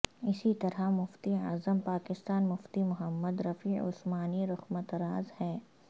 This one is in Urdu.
اسی طرح مفتی اعظم پاکستان مفتی محمد رفیع عثمانی رقمطراز ہیں